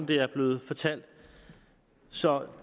det jeg er blevet fortalt så